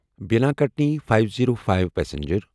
Bina Katni five zero five express